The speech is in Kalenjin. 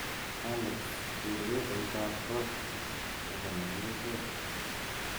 Alex ker pepeoitab kot neo nekirusot